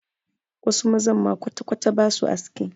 Wasu mazan ma kwatakwata ba su aski.